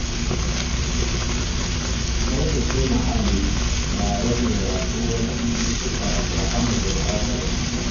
Tsaftace muhalli na rage yaɗuwar cututtuka da hana gurɓatar muhalli.